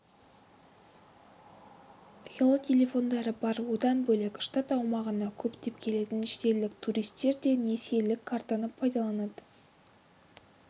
ұялы телефондары бар одан бөлек штат аумағына көптеп келетін шетелдік туристер де несиелік картаны пайдаланады